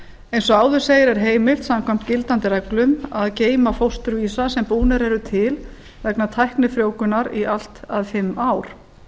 eins og áður segir er heimilt samkvæmt gildandi reglum að geyma fósturvísa sem búnir eru til vegna tæknifrjóvgunar í allt að fimm ár